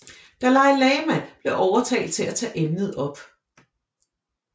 Dalai Lama blev overtalt til at tage emnet op